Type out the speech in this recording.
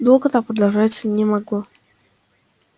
долго так продолжаться не могло